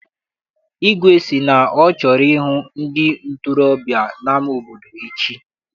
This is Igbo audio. Igwe sị na ọ chọrọ ịhụ ndị ntorobịa n'ama obodo echi.